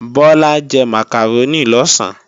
Bọ́lá jẹ màkàrónì lọ̀sán